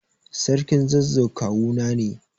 Sarkin zazzau kawuna ne.